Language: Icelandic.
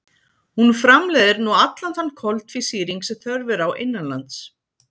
Hún framleiðir nú allan þann koltvísýring sem þörf er á innanlands.